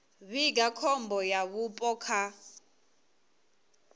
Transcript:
vhiga khombo ya vhupo kha